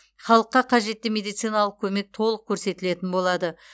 халыққа қажетті медициналық көмек толық көрсетілетін болады